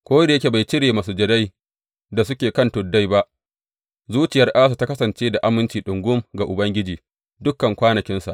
Ko da yake bai cire masujadai da suke kan tuddai ba, zuciyar Asa ta kasance da aminci ɗungum ga Ubangiji dukan kwanakinsa.